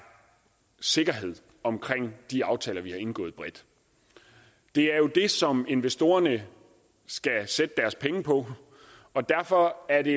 sikkerhed omkring de aftaler vi har indgået bredt det er jo det som investorerne skal sætte deres penge på og derfor er det